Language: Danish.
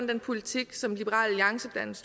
den politik som liberal alliance blandt